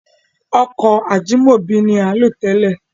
Ọkọ̀ Ajímọ̀bí ni à ń lò télè.